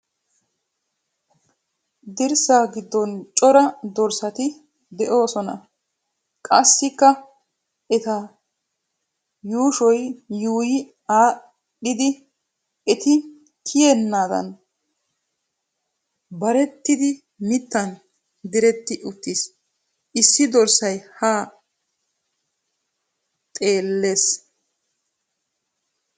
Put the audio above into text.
Dirssa giddon cora dorssati de'oosona. Qassikka eta yuushoy yuuyyi aadhdhidi eti kiyennaadan barettidi mittan diretti uttis. Issi dorssiya haa xeellawusu.